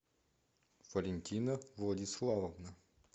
валентина владиславовна